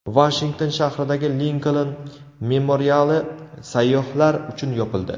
Vashington shahridagi Linkoln memoriali sayyohlar uchun yopildi.